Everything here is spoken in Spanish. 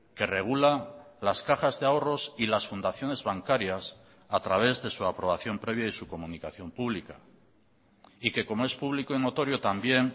que regula las cajas de ahorros y las fundaciones bancarias a través de su aprobación previa y su comunicación pública y que como es público y notorio también